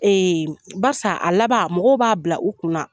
Basan a laban mɔgɔw b'a bila u kunna